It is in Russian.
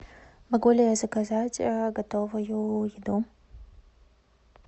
могу ли я заказать готовую еду